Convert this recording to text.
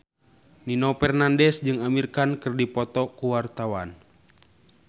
Nino Fernandez jeung Amir Khan keur dipoto ku wartawan